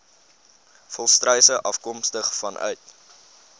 volstruise afkomstig vanuit